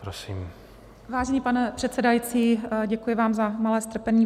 Vážený pane předsedající, děkuji vám za malé strpení.